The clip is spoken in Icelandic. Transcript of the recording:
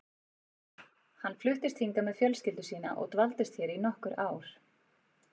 Hann fluttist hingað með fjölskyldu sína og dvaldist hér í nokkur ár.